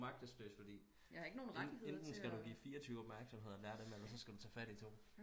Du er magteløs fordi enten skal du give 24 opmærksomhed og lære dem alt eller skal du tage fat i to